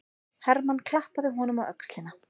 Hermann klappaði honum á öxlina.